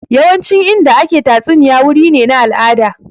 Yawancin Inda ake tatsuniya wuri ne na al'ada